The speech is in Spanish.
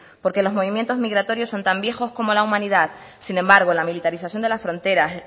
porque los movimientos migratorios son tan viejos como la humanidad sin embargo la militarización de las fronteras